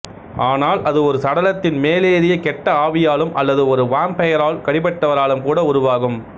ஆனால் அது ஒரு சடலத்தின் மேலேறிய கெட்ட ஆவியாலும் அல்லது ஒரு வாம்பயரால் கடிபட்டவராலும் கூட உருவாகும்